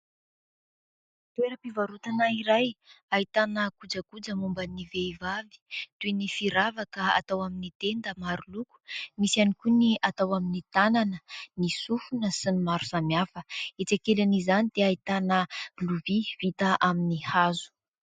Toeram-pivarotana iray ahitana kojakoja momba ny vehivavy toy ny firavaka atao amin'ny tenda maro loko, misy ihany koa ny atao amin'ny tànana, ny sofina sy ny maro samihafa, etsy ankilany izany dia ahitana lovia vita amin'ny hazo.